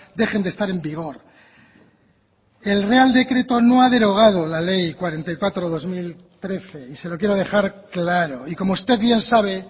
dejen de estar en vigor el real decreto no ha derogado la ley cuarenta y cuatro barra dos mil trece y se lo quiero dejar claro y como usted bien sabe